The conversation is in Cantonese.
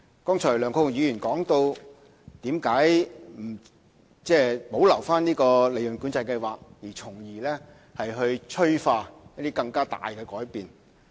梁國雄議員剛才質疑為何不保留計劃，從而催化一些更大的改變。